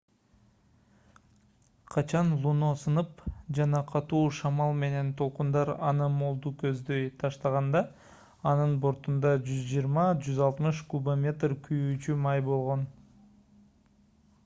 качан луно сынып жана катуу шамал менен толкундар аны молду көздөй таштаганда анын бортунда 120-160 кубометр күйүүчү май болгон